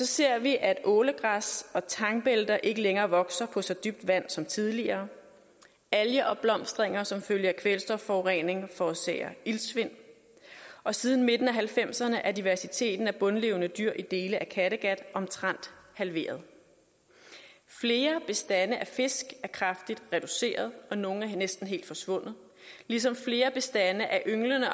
ser vi at ålegræs og tangbælter ikke længere vokser på så dybt vand som tidligere algeopblomstringer som følge af kvælstofforurening forårsager iltsvind og siden midten af nitten halvfemserne er diversiteten af bundlevende dyr i dele af kattegat omtrent halveret flere bestande af fisk er kraftigt reduceret og nogle er næsten helt forsvundet ligesom flere bestande af ynglende